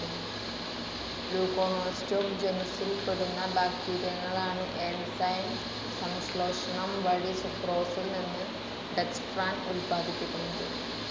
Leuconostoc ജനുസിൽപ്പെടുന്ന ബാക്ടീരയങ്ങളാണ് enzyme സംശ്ലേഷണം വഴി സുക്രോസിൽ നിന്ന് ഡെക്സ്ട്രാൻ ഉത്പാദിപ്പിക്കുന്നത്.